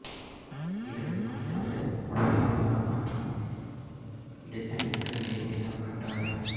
இதற்கு மனிதர்கள் ஒரே காலம் மற்றும் இடத்தில் இருக்க வேண்டியது கட்டாயம்